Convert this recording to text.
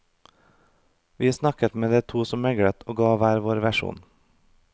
Vi snakket med de to som meglet og ga hver vår versjon.